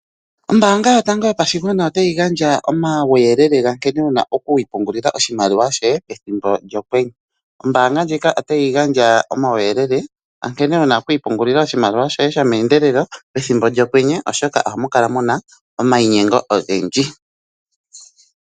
Ombaanga yotango yopashigwana ota yi gandja omawuyelele gankene wuna oku ipungula oshimaliwa shoye pethimbo lyokwenye. Ombaanga ndjika otayi gandja omawuyelele onkene wuna okwiipungulila oshimaliwa shoye shoomeendelelo pethimbo lyokwenye oshoka ohamu kala muna omayinyengo ogendji.